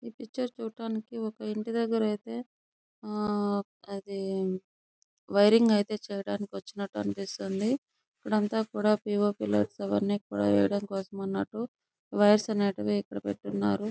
ఈ పిక్చర్ చూడటానికి ఒక ఇంటిదెగ్గర అయితే ఆ ఆహ్ వైరింగ్ అయితే చేయడానికి వచ్చినట్టు అనిపిస్తుంది ఇక్కడంతా కూడా పి. ఓ. పి. లు అవన్నీకూడా వెయ్యడానికి కోసం అన్నట్టు వైర్స్ అనేటివి ఇక్కడ పెట్టి ఉన్నారు.